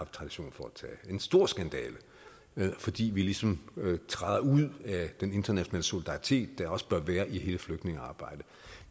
tradition for at en stor skandale fordi vi ligesom træder ud af den internationale solidaritet der også bør være i hele flygtningearbejdet